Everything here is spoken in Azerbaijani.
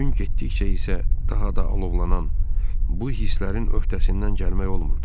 Gün getdikcə isə daha da alovlanan bu hisslərin öhdəsindən gəlmək olmurdu.